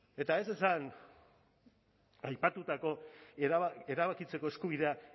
eta ez esan aipatutako erabakitzeko eskubidea